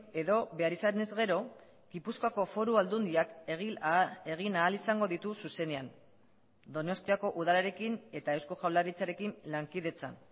edo behar izanez gero gipuzkoako foru aldundiak egin ahal izango ditu zuzenean donostiako udalarekin eta eusko jaurlaritzarekin lankidetzan